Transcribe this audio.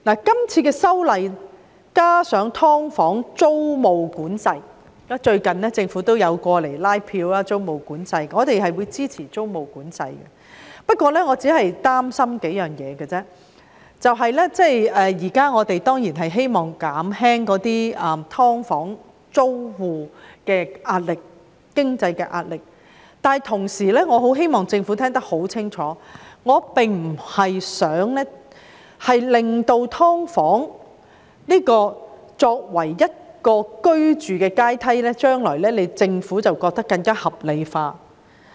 最近政府也有就租務管制一事前來拉票，我們會支持租務管制，但我擔心數件事，就是我們當然希望減輕"劏房"租戶的經濟壓力，但同時我希望政府聽清楚，我不希望"劏房"成為居住階梯，讓政府將來更加合理化"劏房"。